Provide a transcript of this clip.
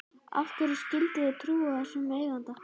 Af hverju skyldi ég trúa þessum eiganda?